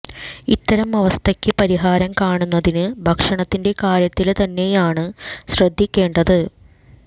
ഇത്തരം അവസ്ഥക്ക് പരിഹാരം കാണുന്നതിന് ഭക്ഷണത്തിന്റെ കാര്യത്തില് തന്നെയാണ് ശ്രദ്ധിക്കേണ്ടത്